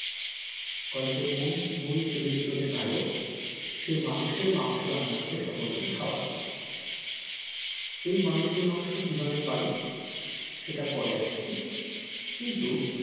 গল্পের মূল মূল চরিত্র যে নায়ক সে মানুষের মাংস রান্না করে সকল কে খাওয়ায় এই মানুষের মাংস কিভাবে পাই সেটা পরে আসছি কিন্তু,